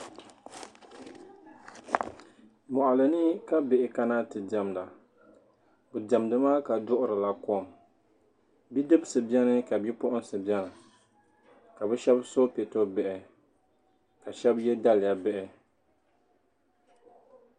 Mɔɣili ni ka bihi kana ti diemda bi diɛmdi maa duɣiri la kom bidibisi beni ka bipuɣinsi beni ka shab so peto bihi ka bi shab ye daliya bihi.